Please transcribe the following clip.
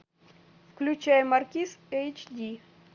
включай маркиз эйч ди